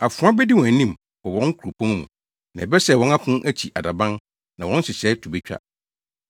Afoa bedi ahim wɔ wɔn kuropɔn mu na ɛbɛsɛe wɔn apon akyi adaban na wɔn nhyehyɛe to betwa.